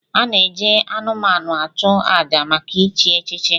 A na-eji anụmanụ achụ àjà maka ichi echichi.